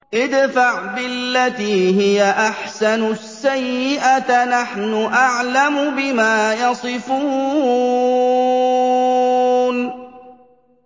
ادْفَعْ بِالَّتِي هِيَ أَحْسَنُ السَّيِّئَةَ ۚ نَحْنُ أَعْلَمُ بِمَا يَصِفُونَ